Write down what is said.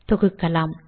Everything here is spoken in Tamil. தொகுக்கலாம்